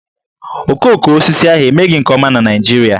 Okoko osisi ahụ emeghị nke ọma na Naịjirịa